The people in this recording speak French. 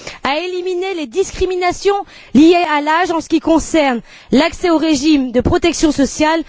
à éliminer les discriminations liées à l'âge en ce qui concerne l'accès au régime de protection sociale.